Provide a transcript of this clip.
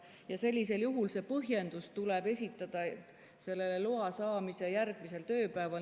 Ja sellisel juhul tuleb põhjendus esitada loa saamisele järgneval tööpäeval.